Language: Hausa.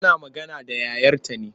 Tana magana da yayarta ne.